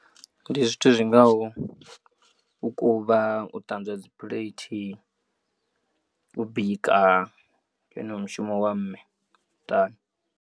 Ndi zwithu zwingaho u kuvha u ṱanzwa dzi plate u bika ndi wone mushumo wa mme muṱani.